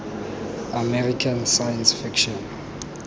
american science fiction